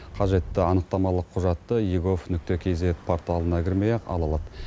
қажетті анықтамалық құжатты егов кизед порталына кірмей ақ ала алады